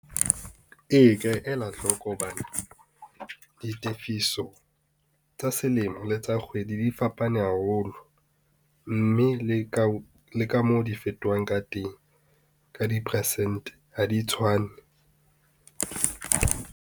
Ee ka ela hloko hobane ditefiso tsa selemo le tsa kgwedi di fapane haholo, mme le ka moo di fetohang ka teng, ka di-persente ha di tshwane.